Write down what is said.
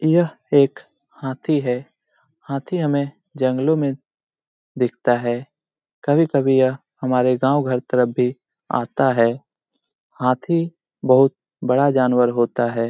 यह एक हाथी है। हाथी हमें जंगलों मे दिखता है। कभी-कभी यह हमारे गांव घर तरफ भी आता है। हाथी बहुत बड़ा जानवर होता है।